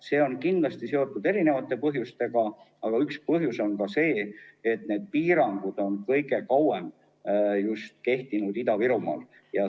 See on kindlasti seotud mitmesuguste põhjustega, aga üks põhjus on see, et piirangud on kõige kauem kehtinud just Ida-Virumaal.